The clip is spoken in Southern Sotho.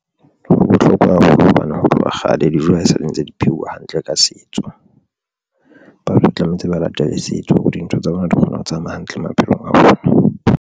Ho bohlokwa haholo hobane ho tloha kgale dijo ha e sale ntse di pheuwa hantle ka setso, batho tlamehetse ba latele setso hore dintho tsa bona di kgona ho tsamaya hantle maphelong a bona.